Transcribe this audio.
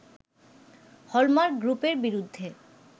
hallmark গ্রুপের বিরুদ্ধে